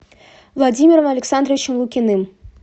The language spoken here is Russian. владимиром александровичем лукиным